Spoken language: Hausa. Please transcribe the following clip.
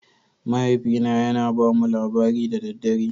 Mahaifina yana ba mu labari da dare